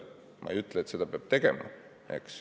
Ma ei ütle, et raie peab lõpetama.